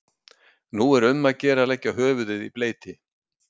Nú er um að gera að leggja höfuðið í bleyti.